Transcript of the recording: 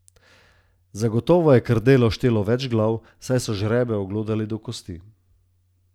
Zagotovo je krdelo štelo več glav, saj so žrebe oglodali do kosti.